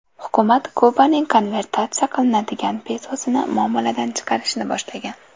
Hukumat Kubaning konvertatsiya qilinadigan pesosini muomaladan chiqarishni boshlagan.